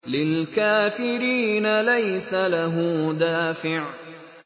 لِّلْكَافِرِينَ لَيْسَ لَهُ دَافِعٌ